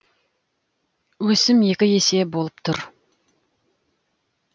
өсім екі есе болып тұр